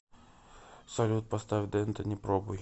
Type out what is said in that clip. салют поставь данте не пробуй